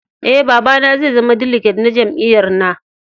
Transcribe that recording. Eh, baba na zai zama diliget na jami'yyar na.